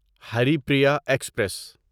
Haripriya express